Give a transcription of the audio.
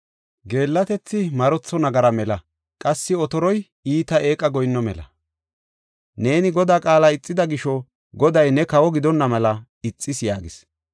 Geellatethi marotho nagara mela; qassi otoroy iita eeqa goyinno mela. Neeni Godaa qaala ixida gisho Goday ne kawo gidonna mela ixis” yaagis.